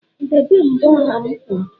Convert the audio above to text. debe mbo ha'm kwuru!